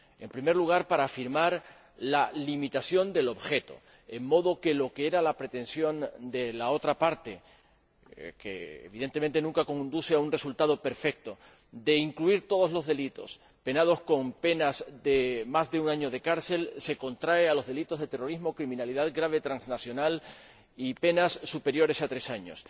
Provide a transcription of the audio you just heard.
En primer lugar, para afirmar la limitación del objeto, en modo que lo que era la pretensión de la otra parte —que, evidentemente, nunca conduce a un resultado perfecto— de incluir todos los delitos sancionados con penas de más de un año de cárcel, se contrae a los delitos de terrorismo, criminalidad grave transnacional y a los delitos sancionados con penas superiores a tres años.